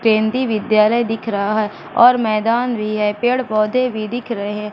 केंद्रीय विद्यालय दिख रहा हैं और मैदान भीं हैं पेड़ पौधे भीं दिख रहें--